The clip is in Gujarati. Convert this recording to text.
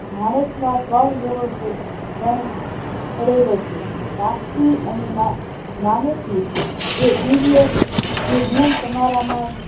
માણસના ત્રણ ગુણો છે લેણું કરેલો છે સ્વાર્થી અને માણસી દિવ્ય જે ગુણ તમારા માં